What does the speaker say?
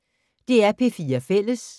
DR P4 Fælles